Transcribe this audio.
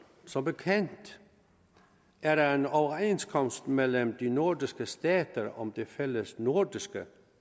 som bekendt er der en overenskomst mellem de nordiske stater om det fællesnordiske